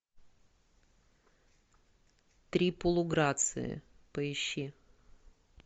три полуграции поищи